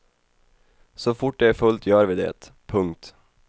Så fort det är fullt gör vi det. punkt